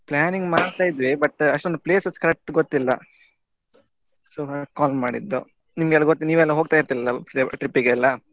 planning ಮಾಡ್ತಾ ಇದ್ದೆ but ಅಷ್ಟೊಂದು places correct ಗೊತ್ತಿಲ್ಲ so ಹಾಗೆ call ಮಾಡಿದ್ದು ನಿಮ್ಗೆಲಾ ಗೊತ್~ ನೀವೆಲ್ಲ ಹೋಗ್ತಾ ಇರ್ತೀರಿ ಅಲ trip ಗೆಲ್ಲ.